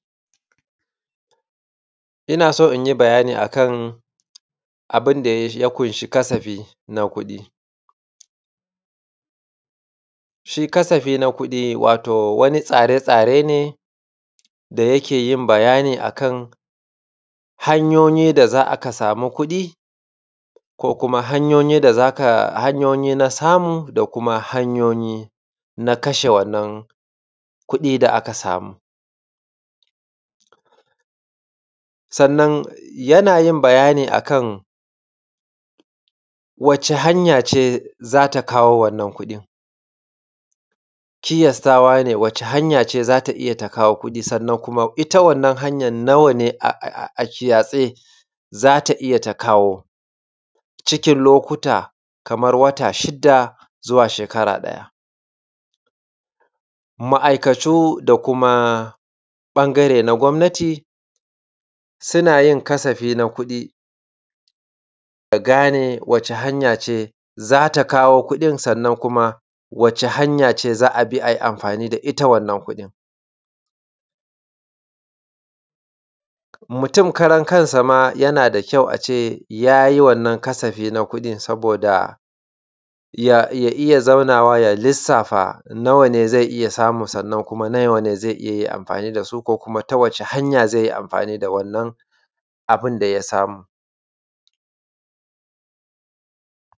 Ina so in yi bayani a kan abin da ya ƙunshi na kuɗi shi kasafi na kuɗi wato wani tsare-tsare ne da yake yin bayani a kan hanyoyi da za ka sami kuɗi, ko kuma hanyoyyi da za ka hanyoyi na samu da kuma hanyoyi na kashe wannan kuɗi da aka samu Sannan yana yin bayani a kan wace hanya ce za ta kawo wannan kuɗin, kiyastawa ne wace hanya ce za ta iya ta kawo kuɗi, sannan kuma ita wannan hanya nawa ne a kiyace za ta iya ta kawo, cikin lokuta kamar wata shida zuwa shekara ɗaya. Ma’aikatu da kuma ɓangare na gwamnati, suna yin kasafi na kuɗi, a gane wata hanya ce za ta kawo kuɗin, sannan kuma, wata hanya ce za a bi a yi amfani da ita wannan kuɗin. Mutum karan kansa yana da kyau a ce ya yi wannan kasafi na kuɗi saboda, ya ya iya zaunawa ya lissafa nawa ne zai iya samu, sannan kuma nawa ne zai iya amfani da su ko kuma ta wace hanya ce zai yi amfani da wannan abun da ya samu.